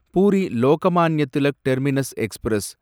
puri Lokmanya Tilak terminus express